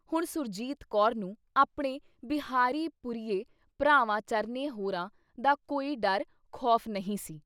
ਹੁਣ ਸੁਰਜੀਤ ਕੌਰ ਨੂੰ ਆਪਣੇ ਬਿਹਾਰੀ ਪੁਰੀਏ ਭਰਾਵਾਂ ਚਰਨੇ ਹੋਰਾਂ ਦਾ ਕੋਈ ਡਰ ਖ਼ੌਫ਼ ਨਹੀਂ ਸੀ।